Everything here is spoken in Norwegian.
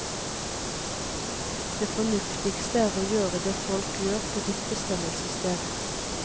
Det fornuftigste er å gjøre det folk gjør på ditt bestemmelsessted.